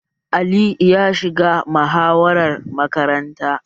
Ali ya shiga muhawarar makaranta?